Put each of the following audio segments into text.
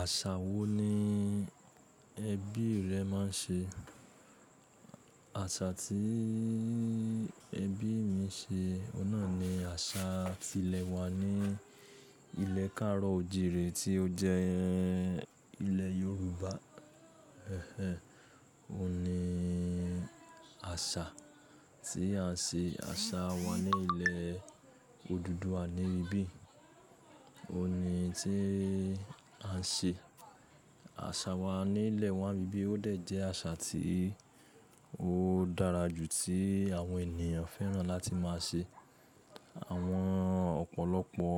Àṣà wo ni ẹbí rẹ máa ń ṣe? Àsà tí ẹbí mi ń ṣe, oun nà ni àṣà ti ilẹ̀ wa ní ilẹ̀ kàárọ̀ òjìrẹ̀ tí ó jẹ́ ilẹ̀ Yorùbá. Òun ni àṣà tí à ń ṣe, àṣà wa ní ilẹ̀ Odùduwa níbí. Òun ni tí à ń ṣe. Àṣà wa ní ilẹ̀ wa níbíbi ó dẹ̀ jẹ́ àṣà tí ó dára jù tí àwọn ènìyàn fẹ́ràn láti máa ṣe. Àwọn ọ̀pọ̀lọpọ̀,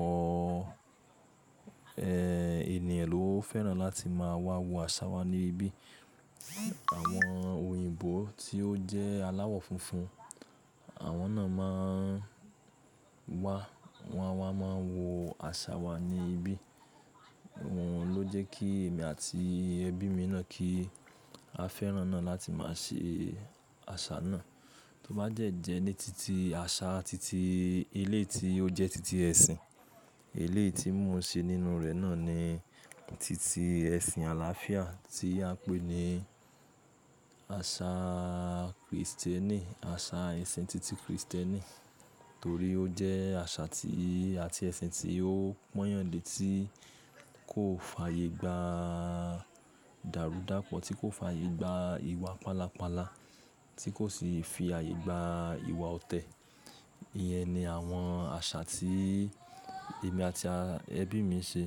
ẹ́, ènìyàn ló fẹ́ràn láti máa wá wo àṣà wa níbí. Àwọn òyìnbó tí ó jẹ́ aláwọ̀ funfun, àwọn náà máa ń wá, wọ́n a máa wo àṣà wa ní ibí. Òun ló jẹ́ kí èmi àti ẹbí mi náà kí a fẹ́ràn náà láti má ṣe àṣà náà. Tó bá dẹ̀ jẹ́ ní títí àṣà títí eléyìí tí ó jẹ́ títí ẹ̀sìn. Eléyìí ti mo ń ṣe nínú rẹ̀ náà ni títí ẹ̀sìn àlàáfíà tí a ń pè ní àṣà Krìstẹ́nì, àṣà ẹ̀sìn títí Krìstẹ́nì. Torí ó jẹ́ àṣà tí àti ẹ̀sìn tí ó pọ́nyàn lé tí kò fàyè gba dàrúdàpọ̀, tí kò fàyè gba ìwà pálapàla, tí kò sì fi ààyè gba ìwà ọ̀tẹ̀. Iyẹn ni àwọn àṣà tí èmi àti ẹbí mi ń ṣe.